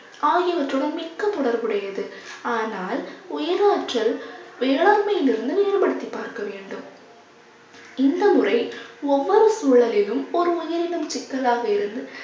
ஆகியவற்றுடன் மிக்க தொடர்புடையது. ஆனால் உயிராற்றல் வேளாண்மையிலிருந்து வேறுபடுத்தி பார்க்க வேண்டும். இந்த முறை ஒவ்வொரு சூழலிலும் ஒரு உயிரினம் சிக்கலாக இருந்து